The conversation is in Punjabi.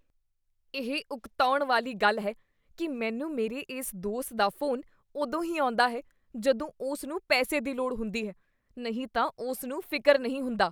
ਇਹ ਉਕਤਾਉਣ ਵਾਲੀ ਗੱਲ ਹੈ ਕੀ ਮੈਨੂੰ ਮੇਰੇ ਇਸ ਦੋਸਤ ਦਾ ਫ਼ੋਨ ਉਦੋਂ ਹੀ ਆਉਂਦਾ ਹੈ ਜਦੋਂ ਉਸ ਨੂੰ ਪੈਸੇ ਦੀ ਲੋੜ ਹੁੰਦੀ ਹੈ, ਨਹੀਂ ਤਾਂ ਉਸ ਨੂੰ ਫਿਕਰ ਨਹੀਂ ਹੁੰਦਾ।